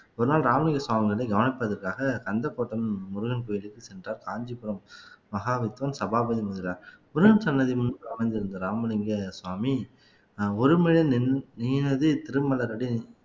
ஒரு நாள் ராமலிங்க சுவாமி வந்து கவனிப்பதற்காக கந்தக்கோட்டை முருகன் கோயிலுக்கு சென்றார் காஞ்சிபுரம் மகாவித்வான் சபாபதி முதலியார் முருகன் சன்னதி முன் அமைந்திருந்த ராமலிங்க சுவாமி நான் ஒருமுறை நின் நீனதே திருமலரடி